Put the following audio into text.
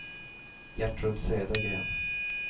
Gertrud Södergren